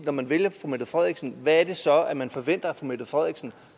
når man vælger fru mette frederiksen hvad er det så man forventer af fru mette frederiksen